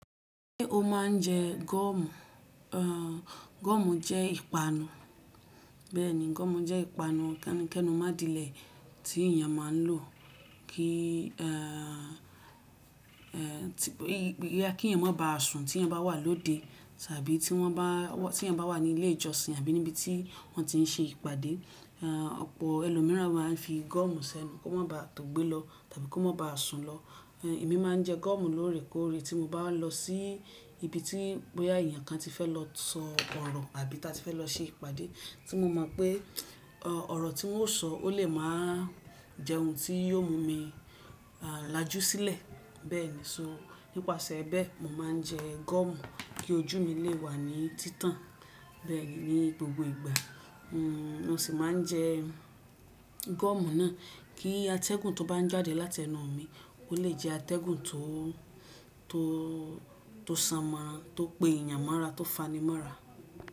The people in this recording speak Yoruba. Ṣé o máa ń jẹ gọ́ọ̀mù? Gọ́ọ̀mù jẹ́ ìpanu. Bẹ́ẹ̀ni, gọ́ọ̀mù jẹ́ ìpanu kẹ́nu mọ́ adilẹ̀ tí èèyàn máa ń lò kí à, kí èèyàn má baà sùn tí wọ́n bá wà lóde tàbí tí wọ́n bá, tí ẹ̀yàn bá wà ní ilé ìjọsìn àbí níbi tí wọ́n ti ń ṣe ìpàdé. À, ọ̀pọ̀ ẹlòmíràn máa ń fi gọ́ọ̀mù sẹ́nu kó má baà tòògbé lọ tàbí kó má baà sùn lọ. Ẹ̀mi máa ń jẹ gọ́ọ̀mù lóore kóóre tí mo bá lọ sí ibi tí pé à, èèyàn kan ti fẹ́ lọ sọ ọ̀rọ̀ àbí tí a ti fẹ́ lọ ṣe ìpàdé tí mo mọ̀ pé ọ̀rọ̀ tí wọ́n ó sọ ó lè máa jẹ ohun tí yóò mú mi a làjú sílẹ̀. Bẹ́ẹ̀ni, so nípasẹ̀ bẹ́ẹ̀, mò máa ń jẹ gọ́ọ̀mù kí ojú mi lè wà ní títàn. Bẹ́ẹ̀ni, ní gbogbo ìgbà. N o sì máa ń jẹ gọ́ọ̀mù náà kí atẹ́gùn tó bá ń jáde láti ẹnu mi ó lè jẹ atẹ́gùn tó, tó, tó sanmọ́ra, tó gbe èèyàn mọ́ra, tó fani mọ́ra.